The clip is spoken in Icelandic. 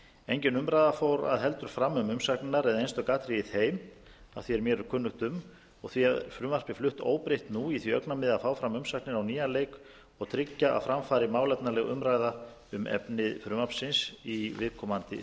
engin umræða fór heldur fram um umsagnirnar eða einstök atriði í þeim að því er mér er kunnugt um og því er frumvarpið flutt fram óbreytt nú í því augnamiði að fá fram umsagnir á nýjan leik og tryggja að fram fari málefnaleg umræða um efni frumvarpsins í viðkomandi þingnefnd það er